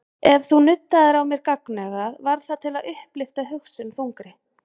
Ef þú nuddaðir á mér gagnaugað var það til að upplyfta hugsun þungri.